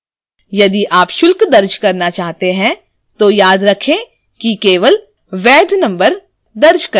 यदि आप शुल्क दर्ज करना चाहते हैं तो याद रखें कि केवल वैध number दर्ज करें